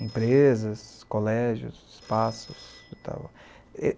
Empresas, colégios, espaços e tal.